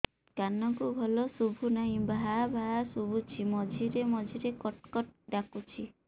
କାନକୁ ଭଲ ଶୁଭୁ ନାହିଁ ଭାଆ ଭାଆ ଶୁଭୁଚି ମଝିରେ ମଝିରେ କଟ କଟ ଡାକୁଚି